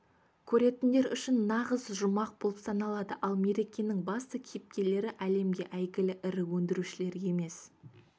көретіндер үшін нағыз жұмақ болып саналады ал мерекенің басты кейіпкерлері әлемге әйгілі ірі өндірушілер емес